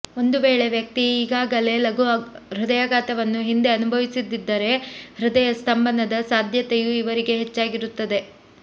ಒಂದು ವೇಳೆ ವ್ಯಕ್ತಿ ಈಗಾಗಲೇ ಲಘು ಹೃದಯಾಘಾತವನ್ನು ಹಿಂದೆ ಅನುಭವಿಸಿದ್ದಿದ್ದರೆ ಹೃದಯ ಸ್ತಂಭನದ ಸಾಧ್ಯತೆಯೂ ಇವರಿಗೆ ಹೆಚ್ಚಾಗಿರುತ್ತದೆ